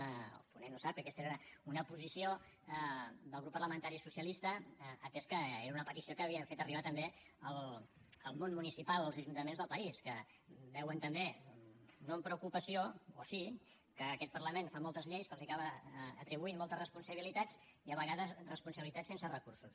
el ponent ho sap que aquesta era una posició del grup parlamentari socialista atès que era una petició que havia fet arribar també el món municipal els ajuntaments del país que veuen també no amb preocupació o sí que aquest parlament fa moltes lleis que els acaba atribuint moltes responsabilitats i a vegades responsabilitats sense recursos